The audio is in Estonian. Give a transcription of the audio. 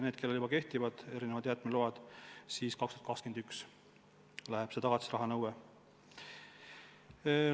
Neil, kellel on kehtivad jäätmeload olemas, jõustub tagatisrahanõue aastal 2021.